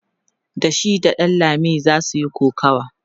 da shi da ɗanlami zasu Yi kokawa